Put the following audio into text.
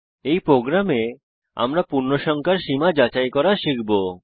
এই প্রোগ্রামে আমরা পূর্ণসংখ্যার সীমা যাচাই করা শিখব